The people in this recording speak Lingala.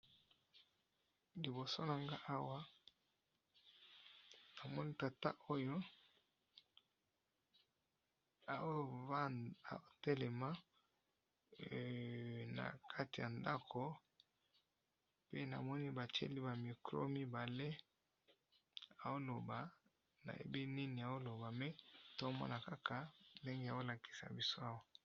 Liboso nanga awa namoni tata oyo ao telema na kati ya ndako pe namoni ba tieli ba mikro mibale ao loba na yebi nini ao loba me toomona kaka ndenge bao lakisa biso awa.